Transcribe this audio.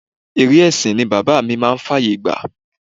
Eré ẹsin ni bàbá mi máa ń fàyè gbà.